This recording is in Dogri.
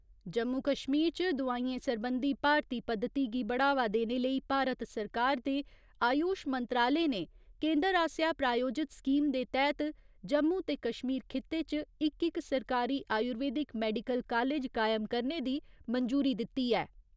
जम्मू कश्मीर च दोआइयें सरबंधी भारती पद्धति गी बढ़ावा देने लेई भारत सरकार दे आयुश मंत्रालय ने केन्दर आसेआ प्रायोजित स्कीम दे तैह्त जम्मू ते कश्मीर खित्ते च इक इक सरकारी आयुर्वेदिक मैडिकल कालेज कायम करने दी मंजूरी दित्ती ऐ।